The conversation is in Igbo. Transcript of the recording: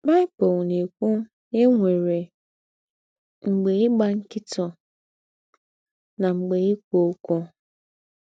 Baị́bụ̀l ná-èkwù ná è nwérè “ m̀gbè ígbà ńkị̀tụ̀, ná m̀gbè íkwú ókwú. ”